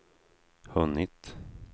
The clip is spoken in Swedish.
hunnit